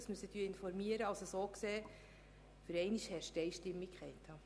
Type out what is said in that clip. Für einmal herrscht hier Einigkeit.